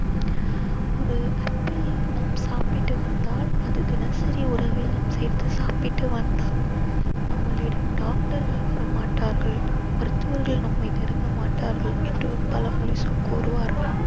ஒரு ஆப்பிள் நாம் சாப்பிட்டு வந்தால் அது தினசரி உணவில் நாம் சேர்த்து சாப்பிட்டு வந்தால் நம்மளிடம் doctor கள் வர மாட்டார்கள் மருத்துவர்கள் நம்மை நெருங்க மாட்டார்கள் என்று ஒரு பழமொழி சொ~ கூறுவார்கள்